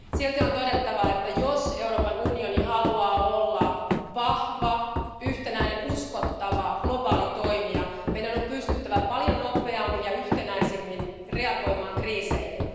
Silti on todettava, että jos Euroopan unioni haluaa olla vahva, yhtenäinen, uskottava globaali toimija, meidän on pystyttävä paljon nopeammin ja yhtenäisemmin reagoimaan kriiseihin.